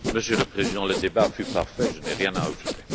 Monsieur le Président, le débat fut parfait, je n'ai rien à ajouter.